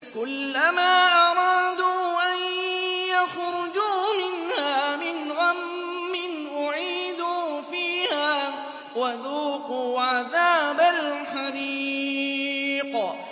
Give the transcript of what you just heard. كُلَّمَا أَرَادُوا أَن يَخْرُجُوا مِنْهَا مِنْ غَمٍّ أُعِيدُوا فِيهَا وَذُوقُوا عَذَابَ الْحَرِيقِ